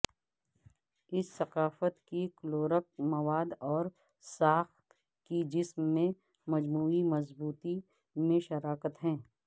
اس ثقافت کی کلورک مواد اور ساخت کی جسم میں مجموعی مضبوطی میں شراکت ہے